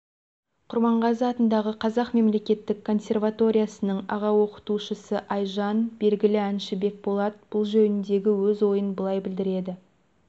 құрманғазы атындағы қазақ мемлекеттік консерваториясының аға-оқытушысы айжан белгілі әнші бекболат бұл жөніндегі өз ойын былай білдіреді